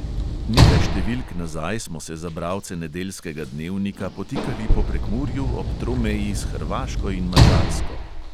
Nekaj številk nazaj smo se za bralce nedeljskega dnevnika potikali po prekmurju ob tromeji s hrvaško in madžarsko.